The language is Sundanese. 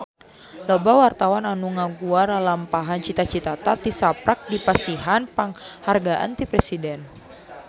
Loba wartawan anu ngaguar lalampahan Cita Citata tisaprak dipasihan panghargaan ti Presiden